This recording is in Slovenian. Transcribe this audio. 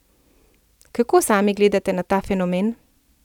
Kako sami gledate na ta fenomen?